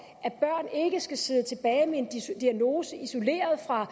at børn ikke skal sidde tilbage med en diagnose isoleret fra